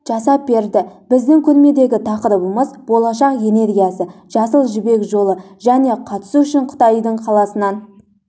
жасап берді біздің көрмедегі тақырыбымыз болашақ энергиясы жасыл жібек жолы және қатысу үшін қытайдың қаласынан